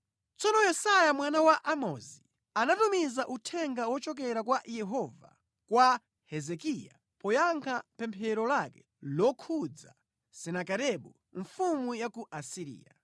Tsono Yesaya mwana wa Amozi anatumiza uthenga wochokera kwa Yehova kwa Hezekiya poyankha pemphero lake lokhudza Senakeribu mfumu ya ku Asiriya.